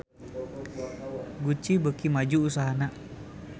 Gucci beuki maju usahana